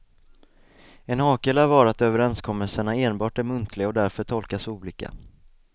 En hake lär vara att överenskommelserna enbart är muntliga och därför tolkas olika.